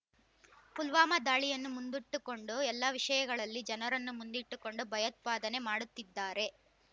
ಪುಲ್ವಾಮಾ ದಾಳಿಯನ್ನು ಮುಂದುಟ್ಟುಕೊಂಡು ಎಲ್ಲ ವಿಷಯಗಳಲ್ಲಿ ಜನರನ್ನು ಮುಂದಿಟ್ಟುಕೊಂಡು ಭಯೋತ್ಪಾದನೆ ಮಾಡುತ್ತಿದ್ದಾರೆ